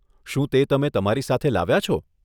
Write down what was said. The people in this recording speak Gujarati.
શું તે તમે તમારી સાથે લાવ્યા છો?